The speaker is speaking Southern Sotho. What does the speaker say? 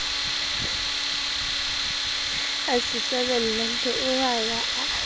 a se hlabela hloohongha a